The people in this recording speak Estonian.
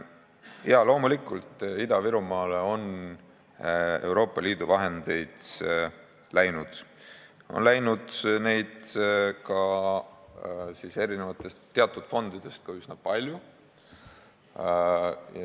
Jaa, loomulikult, Ida-Virumaale on Euroopa Liidu vahendeid läinud, neid on läinud teatud fondidest ka üsna palju.